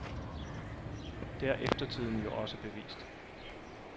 Det har eftertiden jo også bevist.